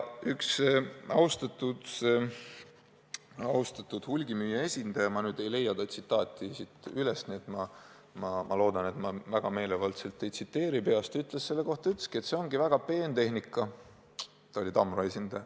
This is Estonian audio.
Üks austatud hulgimüüja esindaja, Tamro esindaja – ma ei leia tema tsitaati üles ja loodan, et ma väga meelevaldselt teda ei tsiteeri – ütles selle kohta, et see ongi väga peen tehnika.